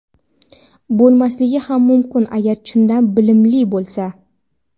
Bo‘lmasligi ham mumkin agar chindan bilimli bo‘lsa.